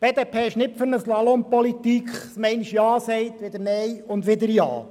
Die BDP ist nicht für eine Slalom-Politik, bei der man einmal Ja sagt, dann wieder Nein und dann wieder Ja.